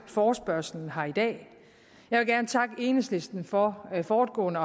forespørgslen her i dag jeg vil gerne takke enhedslisten for fortgående